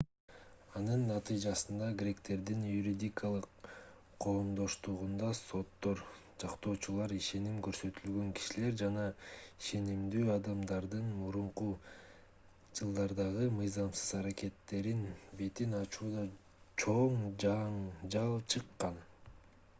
анын натыйжасында гректердин юридикалык коомдоштугунда соттор жактоочулар ишеним көрсөтүлгөн кишилер жана ишенимдүү адамдардын мурунку жылдардагы мыйзамсыз аракеттеринин бетин ачууда чоң жаңжал чыккан